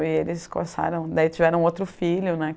E eles começaram... Daí tiveram outro filho, né.